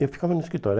Eu ficava no escritório.